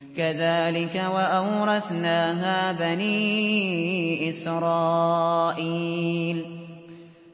كَذَٰلِكَ وَأَوْرَثْنَاهَا بَنِي إِسْرَائِيلَ